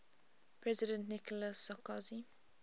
president nicolas sarkozy